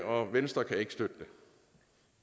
og venstre kan ikke støtte